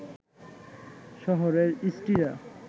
শহরের ইষ্টিরা